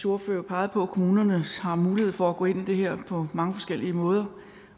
ordfører jo pegede på at kommunerne har mulighed for at gå ind i det her på mange forskellige måder